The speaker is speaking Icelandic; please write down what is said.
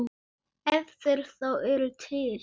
Ef þeir þá eru til.